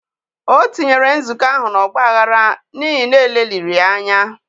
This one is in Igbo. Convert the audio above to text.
O tinyere nzukọ ahụ na ọ gbaghara n'ihi na e leliri ya anya.